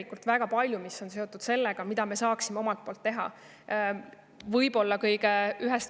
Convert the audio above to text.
Küsimusi, mis on seotud sellega, mida me saaksime omalt poolt teha, on tegelikult väga palju.